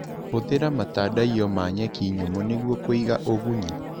Hũthĩra matandaiyo ma nyeki nyũmũ nĩguo kũiga ũgunyu.